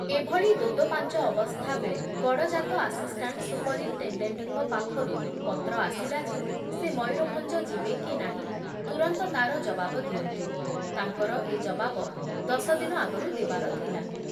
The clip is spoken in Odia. ଏ ଭଳି ଦୋଦୋପାଞ୍ଚ ଅବସ୍ଥା ବେଳେ ଗଡ଼ଜାତ ଅସିଷ୍ଟାଣ୍ଟ ସୁପରିନଟେଣ୍ଡେଣ୍ଟଙ୍କ ପାଖରୁ ପତ୍ର ଆସିଲା ଯେ ସେ ମୟୂରଭଂଜ ଯିବେ କି ନାହିଁ ତୁରନ୍ତ ତାର ଜବାବ ଦିଅନ୍ତୁ, ତାଙ୍କର ଏ ଜବାବ ଦଶଦିନ ଆଗରୁ ଦେବାର ଥିଲା